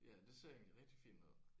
Ja det ser egentlig rigtig fint ud